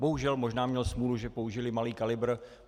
Bohužel možná měl smůlu, že použili malý kalibr.